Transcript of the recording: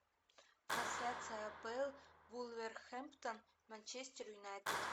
трансляция апл вулверхэмптон манчестер юнайтед